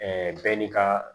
bɛɛ n'i ka